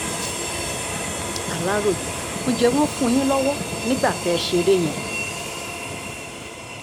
aláròye ǹjẹ́ wọ́n wọ́n fún yín lọ́wọ́ nígbà tẹ́ ẹ ṣeré yẹn